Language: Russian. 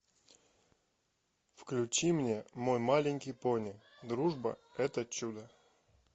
включи мне мой маленький пони дружба это чудо